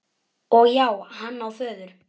Og já, hann á föður.